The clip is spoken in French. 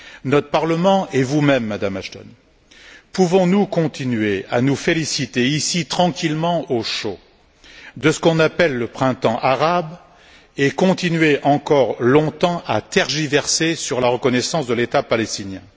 Notre Parlement et vous même, Madame Ashton, pouvons nous continuer à nous féliciter, ici tranquillement au chaud, de ce qu'on appelle le printemps arabe et continuer encore longtemps à tergiverser sur la reconnaissance de l'État palestinien?